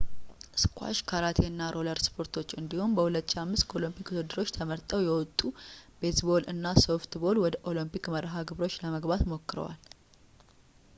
ስኳሽ ካራቴ እና ሮለር ስፖርቶች እንዲሁም በ 2005 ከኦሎምፒክ ውድድሮች ተመርጠው የወጡት ቤዝ ቦል እና ሶፍት ቦል ወደ ኦሊምፒክ መርሃ ግብሮች ለመግባት ሞክረዋል